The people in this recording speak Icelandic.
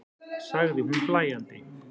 sagði hún hlæjandi.